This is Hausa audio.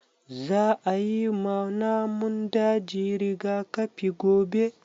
Za a yi ma namun daji rigakafi gobe